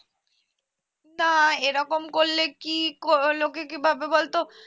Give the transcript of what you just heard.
না এরকম করলে কি কলোকে কি ভাববে বলতো